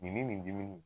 Nin ni nin dimi